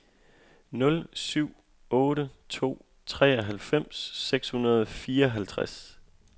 nul syv otte to treoghalvfems seks hundrede og fireoghalvtreds